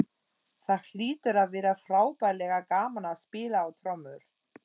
Það hlýtur að vera frábærlega gaman að spila á trommur!